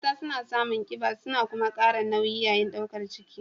Mata suna samun kiba kuma suna kara nauyi yayin daukar ciki.